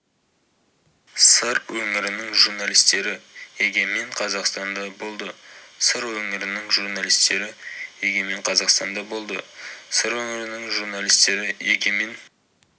сыр өңірінің журналистері егемен қазақстанда болды сыр өңірінің журналистері егемен қазақстанда болды сыр өңірінің журналистері егемен